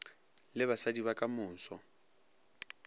le basadi ba ka moso